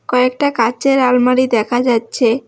কয়েকটা কাঁচের আলমারি দেখা যাচ্ছে।